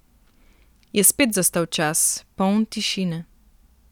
Je spet zastal čas, poln tišine.